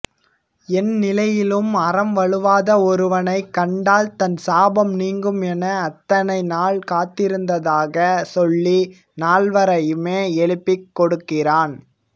எந்நிலையிலும் அறம் வழுவாத ஒருவனைக் கண்டால் தன் சாபம் நீங்கும் என அத்தனை நாள் காத்தருந்ததாகச் சொல்லி நால்வரையுமே எழுப்பிக்கொடுக்கிறான்